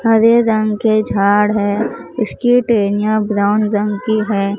हरे रंग के झाड़ है इसकी टहनियां ब्राउन रंग की हैं।